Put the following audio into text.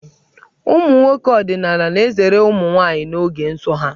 Ụmụ nwoke ọdịnaala na-ezere ụmụ nwaanyị n'oge nsọ ha.